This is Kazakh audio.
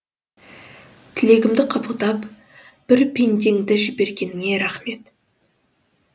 тілегімді қабылдап бір пендеңді жібергеніңе рахмет